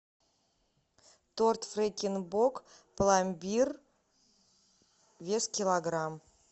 торт фрекен бок пломбир вес килограмм